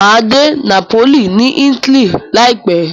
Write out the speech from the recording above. Máa dé Napoli ni Italy láìpẹ̀ẹ́.